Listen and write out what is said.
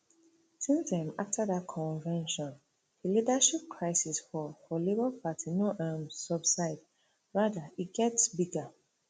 since um afta dat convention di leadership crisis for for labour party no um subside rada e get bigger